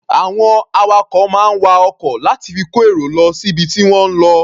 Àwọn awakọ̀ máa ń wa ọkọ̀ láti fi kó èrò lọ síbi tí wọ́n ń lọ.